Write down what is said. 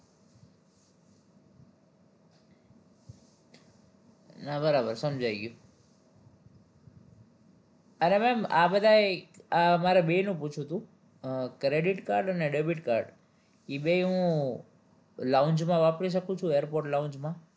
હા બરાબર સમજાય ગયું એટલે ma'am આ બધાય આ મારે બેયનું પૂછવું તું credit card અને debit card ઈ બેય હું lounge માં વાપરી શકું છું airport lounge માં